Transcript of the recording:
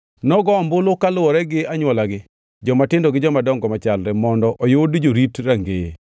Nogo ombulu kaluwore gi anywolagi, jomatindo gi jomadongo machalre mondo oyud jorit rangeye.